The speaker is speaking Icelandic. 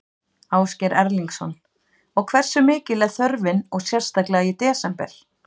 Ásgeir Erlendsson: Og hversu mikil er þörfin og sérstaklega í desember?